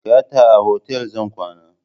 Gata a otal zan kwana.